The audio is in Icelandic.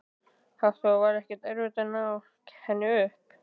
Hafþór: Var ekkert erfitt að ná henni upp?